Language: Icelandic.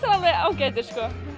alveg ágætir